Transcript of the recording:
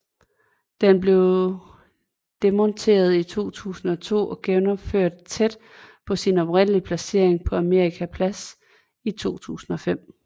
Den blev demonteret i 2002 og genopført tæt på sin oprindelige placering på Amerika Plads i 2005